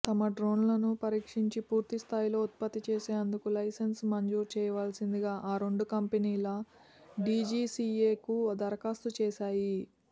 తమ డ్రోన్లను పరీక్షించి పూర్తిస్థాయిలో ఉత్పత్తి చేసేందుకు లైసెన్స్ మంజూరు చేయాల్సిందిగా ఆ రెండు కంపెనీలు డీజీసీఏకు దరఖాస్తు చేశాయి